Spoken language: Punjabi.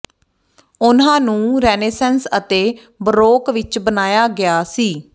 ਉਨ੍ਹਾਂ ਨੂੰ ਰੇਨੇਸੈਂਸ ਅਤੇ ਬਰੋਕ ਵਿਚ ਬਣਾਇਆ ਗਿਆ ਸੀ